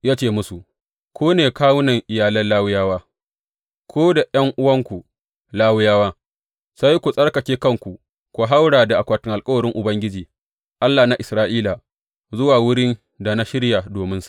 Ya ce musu, Ku ne kawunan iyalan Lawiyawa; ku da ’yan’uwanku Lawiyawa, sai ku tsarkake kanku ku hauro da akwatin alkawarin Ubangiji, Allah na Isra’ila, zuwa wurin da na shirya dominsa.